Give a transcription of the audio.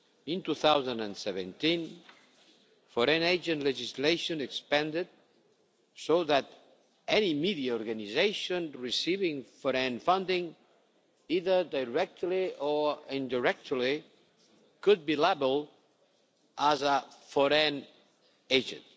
In 2017, foreign agent legislation expanded, so that any media organisation receiving foreign funding, either directly or indirectly, could be labelled as a foreign agent.